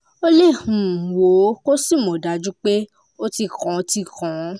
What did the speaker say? o lè um wò ó kó o sì mọ̀ dájú pé ó ti kán ti kán